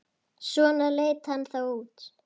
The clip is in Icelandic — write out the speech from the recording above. Svona leit hann þá út.